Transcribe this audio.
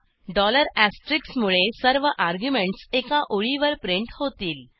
dollar asterisk मुळे सर्व arguments एका ओळीवर प्रिंट होतील